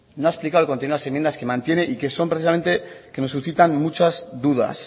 no ha explicado el contenido de las enmiendas que mantiene y que son precisamente las que nos suscitan muchas dudas